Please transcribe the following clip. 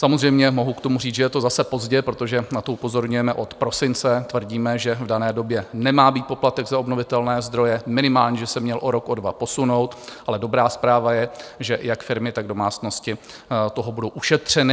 Samozřejmě, mohu k tomu říct, že je to zase pozdě, protože na to upozorňujeme od prosince, tvrdíme, že v dané době nemá být poplatek za obnovitelné zdroje, minimálně že se měl o rok, o dva posunout, ale dobrá zpráva je, že jak firmy, tak domácnosti toho budou ušetřeny.